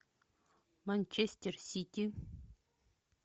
манчестер сити